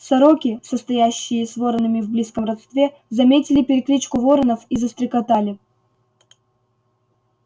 сороки состоящие с воронами в близком родстве заметили перекличку воронов и застрекотали